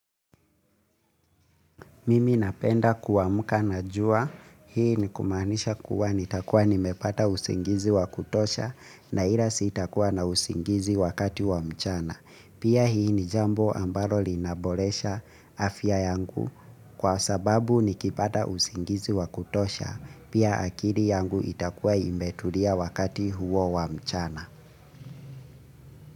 Mimi napenda kuamka na jua. Hii ni kumanisha kuwa nitakuwa nimepata usingizi wa kutosha na ila sitakuwa na usingizi wakati wa mchana. Pia hii ni jambo ambalo linaboresha afya yangu kwa sababu nikipata usingizi wa kutosha. Pia akili yangu itakuwa imetulia wakati huo wa mchana.